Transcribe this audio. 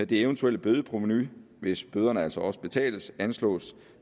det eventuelle bødeprovenu hvis bøderne altså også betales anslås